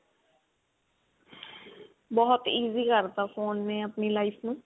ਬਹੁਤ easy ਕਰਤਾ phone ਨੇ ਆਪਣੀ life ਨੂੰ